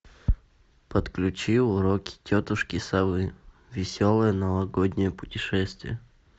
подключи уроки тетушки совы веселое новогоднее путешествие